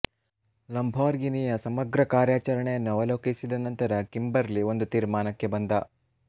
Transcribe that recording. ಲಂಬೋರ್ಘಿನಿಯ ಸಮಗ್ರ ಕಾರ್ಯಾಚರಣೆಯನ್ನು ಅವಲೋಕಿಸಿದ ನಂತರ ಕಿಂಬರ್ಲಿ ಒಂದು ತೀರ್ಮಾನಕ್ಕೆ ಬಂದ